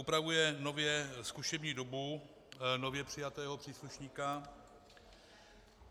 Upravuje nově zkušební dobu nově přijatého příslušníka.